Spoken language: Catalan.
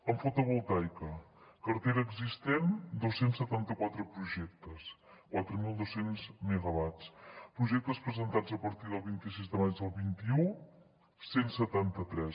en fotovoltaica cartera existent dos cents i setanta quatre projectes quatre mil dos cents megawatts projectes presentats a partir del vint sis de maig del vint un cent i setanta tres